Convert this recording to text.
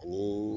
Ni